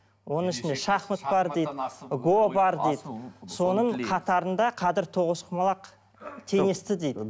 оның ішінде шахмат бар дейді го бар дейді соның қатарында қадір тоғызқұмалақ теңесті дейді